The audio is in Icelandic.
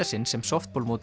sinn sem